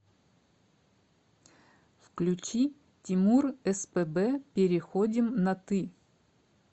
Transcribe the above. включи тимур спб переходим на ты